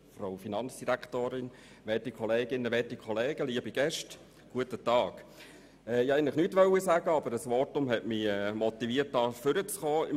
Ich wollte eigentlich nichts sagen, aber ein Votum hat mich motiviert, ans Rednerpult zu kommen.